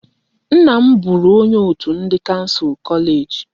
Nna m bụụrụ onye òtù ndị kansụl kọleeji.